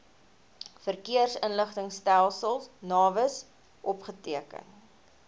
verkeersinligtingstelsel navis opgeteken